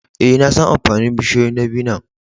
Eh, na san amfanin bushiyoyin dabino'n.